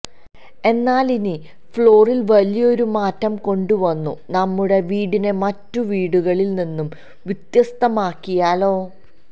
എന്നാലിനി ഫ്ലോറിൽ വലിയൊരു മാറ്റം കൊണ്ടുവന്നു നമ്മുടെ വീടിനെ മറ്റു വീടുകളിൽ നിന്നും വ്യത്യസ്തമാക്കി യാലോ